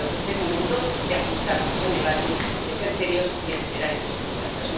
Creo que es el momento de ajustarnos al debate, de ser serios y de generar esas confianzas.